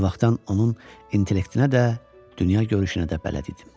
O vaxtdan onun intellektinə də, dünyagörüşünə də bələd idim.